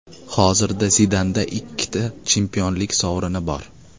Hozirda Zidanda ikkita chempionlik sovrini bor.